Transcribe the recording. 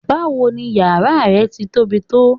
Báwo ni yàrá ẹ ti tóbi tó?